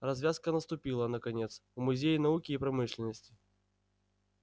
развязка наступила наконец в музее науки и промышленности